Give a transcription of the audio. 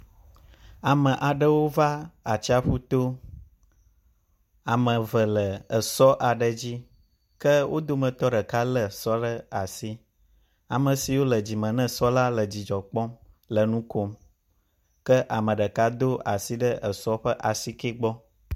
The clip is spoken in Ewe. Ame aɖewóva atsaƒutó, ame eve le esɔ aɖe dzi.ke wódometɔ ɖeka le esɔ ɖe asi. Amesiwó le dzìme ne esɔ la le dzidzɔkpɔm le nukom ke ameɖeka dó asi ɖe esɔ ƒe asikɛ gbɔ̀